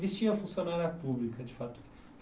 vestia funcionária pública, de fato.